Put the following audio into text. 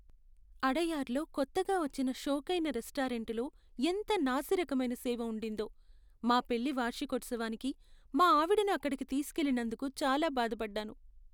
అడయార్లో కొత్తగా వచ్చిన షోకైన రెస్టారెంటులో ఎంత నాసిరకమైన సేవ ఉండిందో, మా పెళ్లి వార్షికోత్సవానికి మా ఆవిడను అక్కడికి తీసుకెళ్లినందుకు చాలా బాధపడ్డాను.